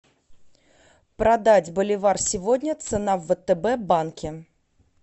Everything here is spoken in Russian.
продать боливар сегодня цена в втб банке